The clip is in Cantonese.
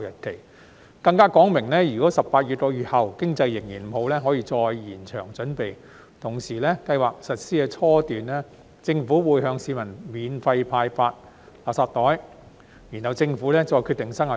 政府更表明，如果18個月後經濟仍然不理想，可以再延長準備期，同時計劃在實施初期，會向市民免費派發垃圾袋，之後再決定生效日期。